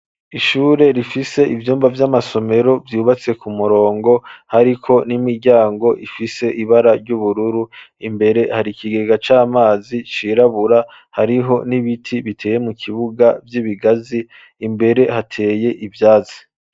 Ishure, rifise ivyumba vy'amasomero, vyubatse ku murongo, hariko n'imiryango, ifise ibara ry'ubururu; imbere, hari ikigega c'amazi, cirabura; hariho n'ibiti, biteye mu kibuga, vy'ibigazi; imbere hateye ivyatsi.